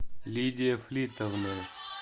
лидия флитовна